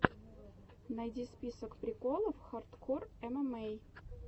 найди список приколов хардкор эмэмэй